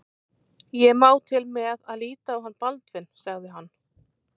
Ég má til með að líta á hann Baldvin sagði hann.